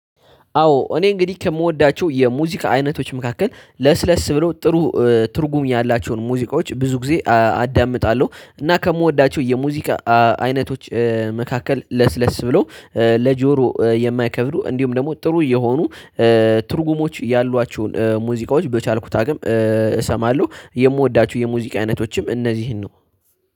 አዎ እኔ እንግዲህ ከምወዳቸው የሙዚቃ አይነቶች መካከል ለስለስ ብሎ ጥሩ ትርጉም ያላቸውን ሙዚቃዎች ብዙ ጊዜ አዳምጣለሁ። እና ከምወዳቸው የሙዚቃ አይነቶች መካከል ለስለስ ብሎ ለጆሮ የማይከብዱ እንዲሁም ደግሞ ጥሩ የሆኑ ትርጉሞች ያሏቸውን ሙዚቃዎች በቻልኩት አቅም እሰማለሁ። የምወዳቸው የሙዚቃ አይነቶችም እነዚህን ነው